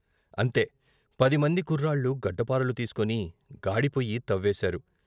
అంతే, పదిమంది కుర్రాళ్ళు గడ్డ పారలు తీసుకుని గాడిపొయ్యి తవ్వేశారు .